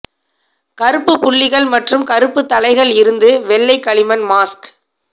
கருப்பு புள்ளிகள் மற்றும் கருப்பு தலைகள் இருந்து வெள்ளை களிமண் மாஸ்க்